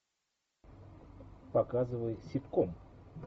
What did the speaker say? показывай ситком